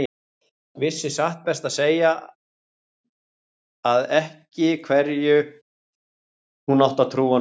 Vissi satt best að segja ekki hverju hann átti að trúa núna.